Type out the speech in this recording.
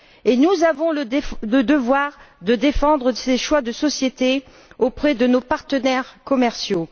Et nous avons le devoir de défendre ces choix de société auprès de nos partenaires commerciaux!